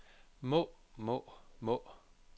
må må må